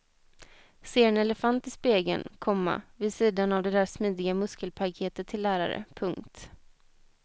Ser en elefant i spegeln, komma vid sidan av det där smidiga muskelpaketet till lärare. punkt